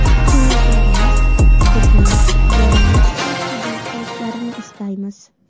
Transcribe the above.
Tinglovchilarimiz bizni borimizcha qabul qilishlarini istaymiz”.